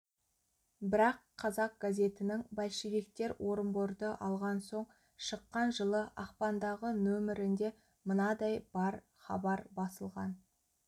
бірақ қазақ газетінің большевиктер орынборды алған соң шыққан жылы ақпандағы нөмірінде мынадай бір хабар басылған